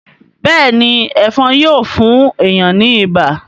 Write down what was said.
béèni Ẹ̀fọ̀n Yíò fún èyán ní ibà.